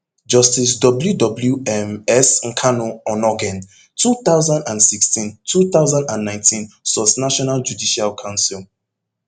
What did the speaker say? justice w w um s nkanu onnoghen two thousand and sixteen two thousand and nineteen sourcenational judicial council